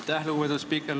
Aitäh, lugupeetud spiiker!